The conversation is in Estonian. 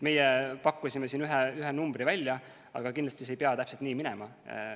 Meie pakkusime siin ühe numbri välja, aga kindlasti see ei pea täpselt nii minema.